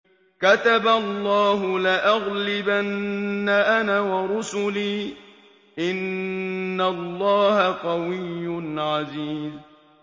كَتَبَ اللَّهُ لَأَغْلِبَنَّ أَنَا وَرُسُلِي ۚ إِنَّ اللَّهَ قَوِيٌّ عَزِيزٌ